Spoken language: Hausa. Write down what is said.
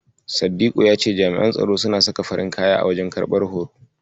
Saddiku ya ce jami'an tsaro suna saka farin kaya a wajen karɓar horo.